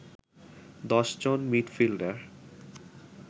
১০ জন মিডফিল্ডার